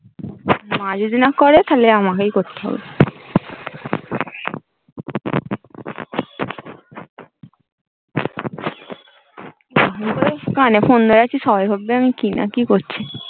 মা যদি না করে তাহলে আমকেই করতে হবে কানে phone ধরে আছে সরাশব্দ নেই কি না কি করছে